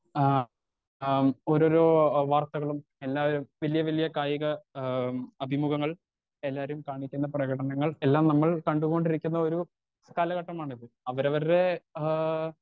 Speaker 2 ആ ആ ഓരോരോ വാർത്തകളും വല്ല്യ വല്ല്യ കായിക ഏ അഭിമുഖങ്ങൾ എല്ലാരും കാണിക്കുന്ന പ്രകടനങ്ങൾ എല്ലാം നമ്മൾ കണ്ട് കൊണ്ടിരിക്കുന്നൊരു കാലഘട്ടമാണിത് അവരവരെ ആ.